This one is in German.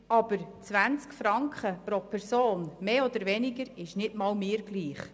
Aber 20 Franken mehr oder weniger sind nicht einmal mir egal.